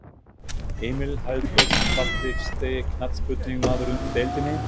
Emil Hallfreðs Fallegasti knattspyrnumaðurinn í deildinni?